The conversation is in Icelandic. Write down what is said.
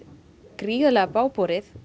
gríðarlega bágborið